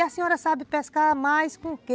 E a senhora sabe pescar mais com o quê?